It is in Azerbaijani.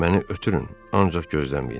Məni ötürün, ancaq gözləməyin.